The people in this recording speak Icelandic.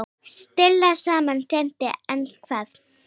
Stilla saman strengi hvað?